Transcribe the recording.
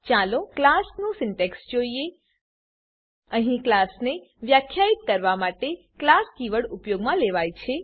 ચાલો હવે ક્લાસનું સિન્ટેક્સ જોઈએ અહીં ક્લાસને વ્યાખ્યિત કરવા માટે ક્લાસ કીવર્ડ ઉપયોગમાં લેવાય છે